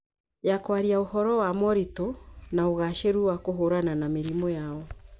Ya kwaria ũhoro wa moritũ na ũgaacĩru wa kũhũrana na mĩrimũ yao.